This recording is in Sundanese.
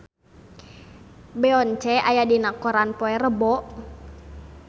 Beyonce aya dina koran poe Rebo